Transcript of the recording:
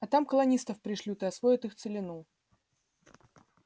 а там колонистов пришлют и освоят их целину